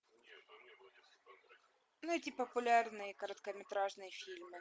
найти популярные короткометражные фильмы